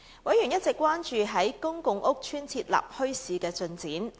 委員一直關注在公共屋邨設立墟市的進展。